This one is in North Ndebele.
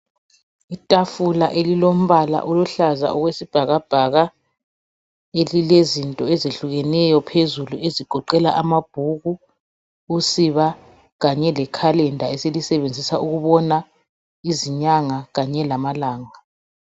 Itafula elilombala oluhlaza okwesibhakabhaka elilezinto ezehlukeneyo phezulu ezigoqela amabhuku, usiba kanye lekhalenda esilisebenzisa ukubona izinyanga lanye lamalanga.